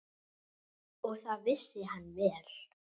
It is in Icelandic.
Og það vissi hann vel.